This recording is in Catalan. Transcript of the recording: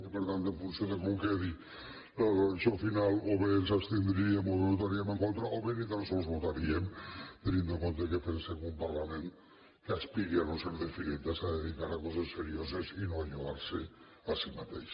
i per tant en funció de com quedi la redacció final o bé ens abstindríem o bé votaríem en contra o bé ni tan sols votaríem tenint en compte que pensem que un parlament que aspiri a no ser de fireta s’ha de dedicar a coses serioses i no ajudar se a si mateix